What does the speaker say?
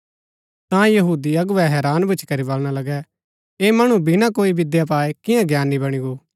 ता यहूदी अगुवै हैरान भूच्ची करी बलणा लगै ऐह मणु बिना कोई विद्या पाऐ कियां ज्ञानी बणी गो